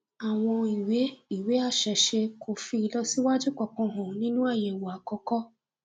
àwọn ìwé ìwé àṣẹṣe kò fi ìlọsíwájú kankan hàn nínú àyẹwò àkọkọ